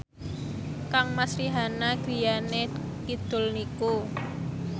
kangmas Rihanna griyane kidul niku